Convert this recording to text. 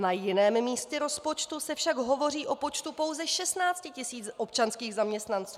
Na jiném místě rozpočtu se však hovoří o počtu pouze 16 000 občanských zaměstnanců.